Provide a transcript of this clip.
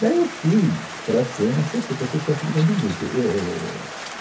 Daí eu fui para ser um assessor, para ser chefe de gabinete. e éh, é